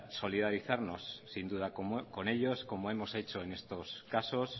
solidarizarnos sin duda con ellos como hemos hecho en estos casos